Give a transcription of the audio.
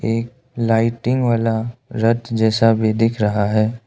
एक लाइटिंग वाला रथ जैसा भी दिख रहा है।